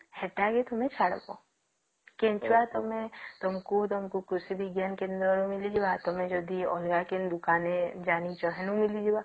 ସେଟା ହିଁ ତମେ ଛାଡିବା କେଞ୍ଚୁଆ ତମକୁ କୃଷି ବିଜ୍ଞାନ କେନ୍ଦ୍ର ରେ ମିଳିଯିବ ଆଉ ଯଦି ତମେ ଅଲଗା କେନେ ଦୋକାନ ଥେ ଜାଣିଛ ହେନୁ ମିଳିଯିବ